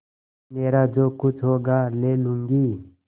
मेरा जो कुछ होगा ले लूँगी